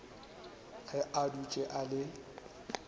ge a dutše a le